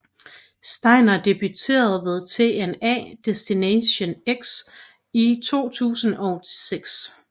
Steiner debuterede ved TNA Destination X i 2006